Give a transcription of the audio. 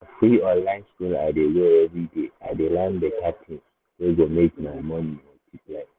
na free online school i dey go everyday i dey learn better things wey go make my money multiply.